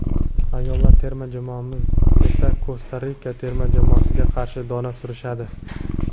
ayollar terma jamoamiz esa Kosta Rika terma jamoasiga qarshi dona surishadi.